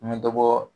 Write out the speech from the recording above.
N bɛ dɔ bɔ